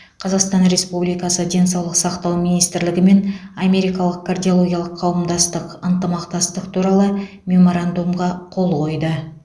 қазақстан республикасы денсаулық сақтау министрлігі мен америкалық кардиологиялық қауымдастық ынтымақтастық туралы меморандумға қол қойды